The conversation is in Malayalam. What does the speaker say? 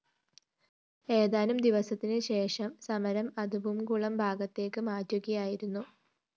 ഏതാനും ദിവസത്തിനു ശേഷം സമരം അതുമ്പുംകുളം ഭാഗത്തേക്ക് മാറ്റുകയായിരുന്നു